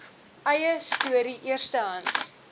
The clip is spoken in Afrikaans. eie storie eerstehands